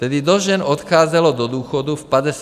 Tedy dost žen odcházelo do důchodu v 55 letech.